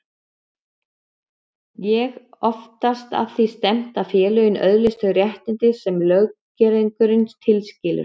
Er oftast að því stefnt að félagið öðlist þau réttindi sem löggerningurinn tilskilur.